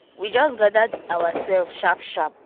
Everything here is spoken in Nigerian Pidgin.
we just gather oursef sharp sharp do the place well for the meeting